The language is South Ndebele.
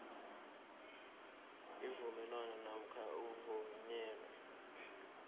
avulwa namkha avunywe